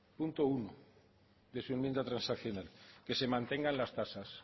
punto uno de su enmienda transaccional que se mantengan las tasas